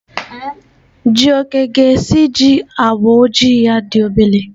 Jioke ga-esiji agba ojii ya dị obere.